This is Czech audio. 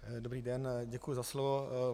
Dobrý den, děkuji za slovo.